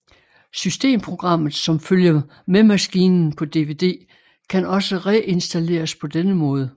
Systemprogrammet som følger med maskinen på DVD kan også reinstalleres på denne måde